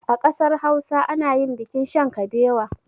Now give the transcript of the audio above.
A ƙasar hausa anayin bikin shan kabewa